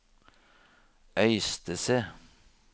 Øystese